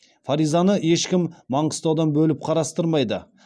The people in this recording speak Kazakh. фаризаны ешкім маңғыстаудан бөліп қарастырмайды